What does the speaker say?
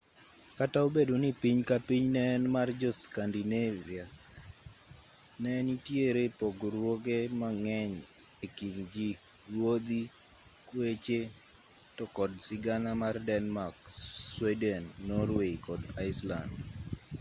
kata obedo ni piny ka piny ne en mar 'jo-scandivia' ne nitiere pogruoge mang'eny e kind ji ruodhi kweche to kod sigana mar denmark sweden norway kod iceland